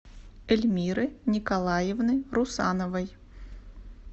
эльмиры николаевны русановой